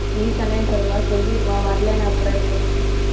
நீ சொன்னேன்னு சொல்லவா. சொல்லிடுவான் வரலைன்னா அப்புறம் இருக்கு உனக்கு.